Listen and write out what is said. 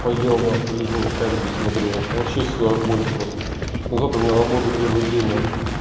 поел на пляжу комедии смотрю вообще все огонь просто завтра на работу первый день наахуй